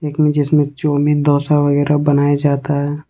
जिसमें डोसा वगैरा बनाया जाता है।